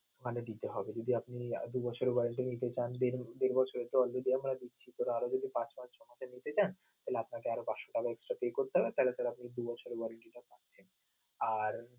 money দিতে হবে যদি আপনি দুই বছরের warranty নিতে চান দেড় বছর পর যদি হয় আরও যদি পাঁচ মাস সময়টা নিতে চান তাহলে আপনাকে আরও পাঁচশ টাকা extra pay করতে হবে তাহলে আপনি দুই বছরের warranty টা পাচ্ছেন. আর